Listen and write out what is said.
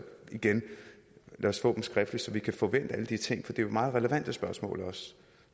igen lad os få dem skriftligt så vi kan få vendt alle de ting for det er jo meget relevante spørgsmål nu